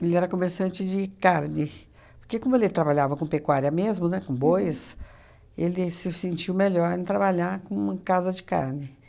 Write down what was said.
ele era comerciante de carne, porque como ele trabalhava com pecuária mesmo, né, com bois, ele se sentiu melhor em trabalhar com casa de carne.